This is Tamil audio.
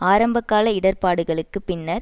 ஆரம்ப கால இடர்பாடுகளுக்கு பின்னர்